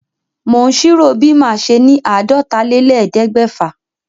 Mò ń ṣírò bí màá ṣe ni àádọ́tálélẹ́ẹ̀ẹ́dẹ́gbẹ́fà.